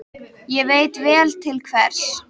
Og ég veit vel til hvers.